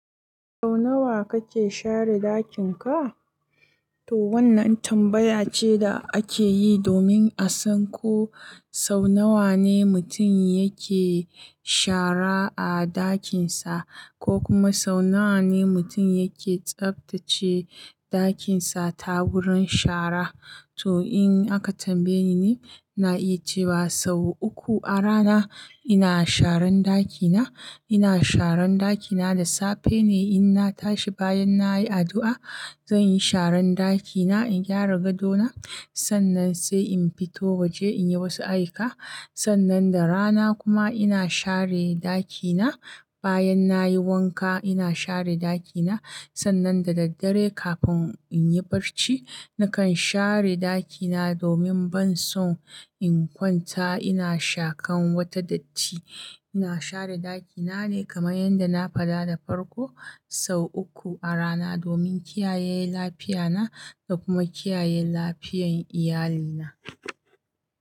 Sau nawa kake share ɗakin ka? Toh wannan tambaya ce da ake yi domin a san ko sau nawa ne mutum yake shara a ɗakin sa ko kuma sau nawa ne mutum yake tsaftace ɗakin sa ta wurin shara. Toh in aka tambaye ni ni, ina iya cewa sau uku a rana ina sharan ɗakina. Ina sharan ɗakina da safe ne in na tashi bayan nayi addu'a. Zanyi sharan ɗakina in gyara gadona, sannan sai in fito waje in yi wasu ayuka. Sannan da rana kuma ina share ɗakina. Bayan nayi wanka ina share ɗakina. Sannan da daddare kafin in yi barci nakan share ɗakina domin ban so in kwanta ina shakan wata datti. Ina share ɗakina ne kamar yadda na fada da farko sau uku a rana domin kiyaye lafiya na da kuma kiyaye lafiyan iyalina.